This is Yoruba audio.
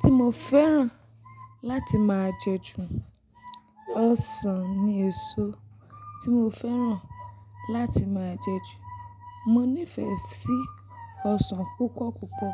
tí mo fẹ́ràn láti máa jẹ ju. Ọsàn ni èso tí mo fẹ́ràn láti máa jẹ ju. Mo nífẹ̀ẹ́ sí ọsàn púpọ̀ púpọ̀.